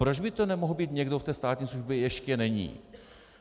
Proč by to nemohl být někdo, kdo ve státní službě ještě není?